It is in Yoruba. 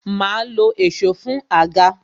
Ma lo èsó fún àga